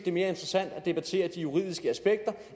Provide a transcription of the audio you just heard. er mere interessant at debattere de juridiske aspekter